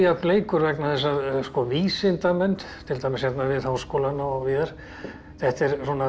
leikur vegna þess að vísindamenn til dæmis við Háskólann og víðar þetta er